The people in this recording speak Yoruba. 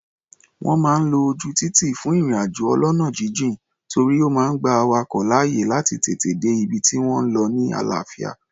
Wọ́n máa ń lo ojú títì fún ìrìn-àjò ọlọ́nà jínjìn, torí ó máa gba awakọ̀ láàyè láti tètè dé ibi tí wọ́n ń lọ ni àlàáfíà.